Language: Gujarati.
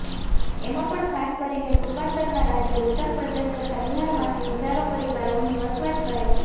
એમાં પણ ખાસ કરીને પૂર્વાતરના રાજ્યો ઉત્તરપ્રદેશ તથા બિહારમાંથી હજારો પરિવારો અહીં વસવાટ કરે છે